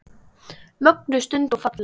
Mögnuð stund og falleg.